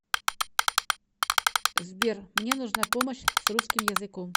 сбер мне нужна помощь с русским языком